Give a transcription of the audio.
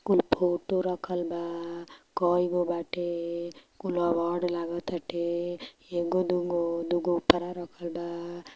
कुल फोटो रखल बा कई को बाटे कुल अवॉर्ड लागत टाते ए को दु को दु को ऊपरा रखल बा |